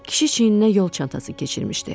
Kişi çiyninə yol çantası keçirmişdi.